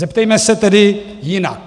Zeptejme se tedy jinak.